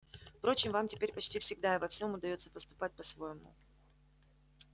впрочем вам теперь почти всегда и во всём удаётся поступать по-своему